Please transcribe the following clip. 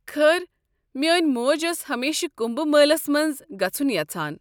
خٲر، مٲنۍ موج ٲس ہمیشہٕ کُمبھ مٲلس منٛز گژھُن یژھان۔